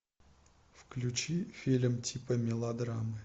включи фильм типа мелодрамы